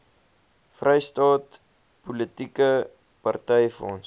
vrystaat politieke partyfonds